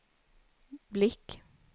blick